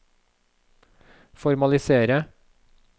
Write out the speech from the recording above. formalisere